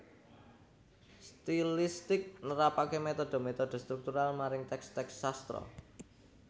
Stilistik nerapaké metode metode struktural maring teks teks sastra